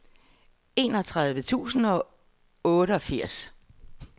enogtredive tusind og otteogfirs